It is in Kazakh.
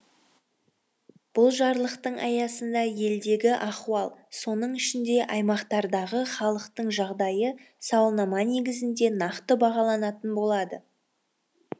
бұл жарлықтың аясында елдегі ахуал соның ішінде аймақтардағы халықтың жағдайы сауалнама негізінде нақты бағаланатын болады